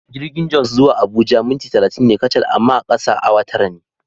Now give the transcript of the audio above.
Jirgin Jos zuwa Abuja minti talatin ne kacal amma a kasa awa tara ne.